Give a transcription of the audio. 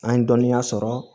An ye dɔnniya sɔrɔ